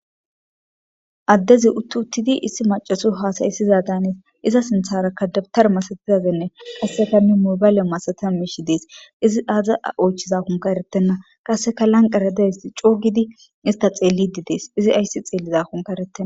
Adezi utti uttidi indiyo hasa'isoza daanes iza sinthataka dawtara masatizanne mobale masatiza mishi de'es izi ay othizanka eretena qaseka lanqera dizays co gidi iza ista xelidi fees izi aysi xelizanka eretena.